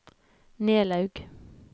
Nelaug